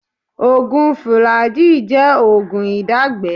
Oògùn fùlàjíì jẹ́ oògùn ìdágbẹ́ẹ̀ẹ́